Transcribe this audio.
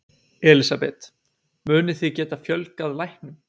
Elísabet: Munið þið geta fjölgað læknum?